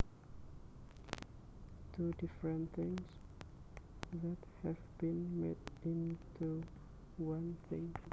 Two different things that have been made into one thing